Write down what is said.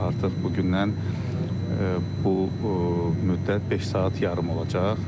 Artıq bugündən bu müddət beş saat yarım olacaq.